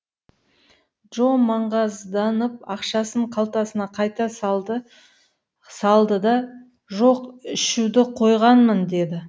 джо маңғазданып ақшасын қалтасына қайта салды да жоқ ішуді қойғанмын деді